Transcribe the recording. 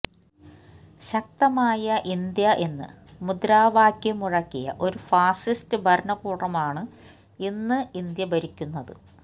ശക്തമായ ഇന്ത്യ എന്ന് മുദ്രാവാക്യം മുഴക്കിയ ഒരു ഫാസിസ്റ്റ് ഭരണകൂടമാണ് ഇന്ന് ഇന്ത്യ ഭരിക്കുന്നത്